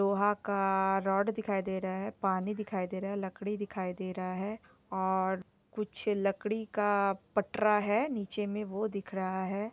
लोहा का रॉड दिखाई दे रहा है पानी दिखाई दे रहा है लकड़ी दिखाई दे रहा है और लकड़ी का पटरा है नीचे मे वो दिखाई दे रहा है।